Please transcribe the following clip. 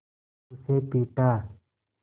उसे पीटा